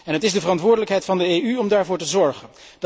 Het is de verantwoordelijkheid van de EU om daarvoor te zorgen.